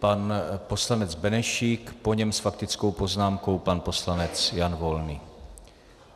Pan poslanec Benešík, po něm s faktickou poznámkou pan poslanec Jan Volný.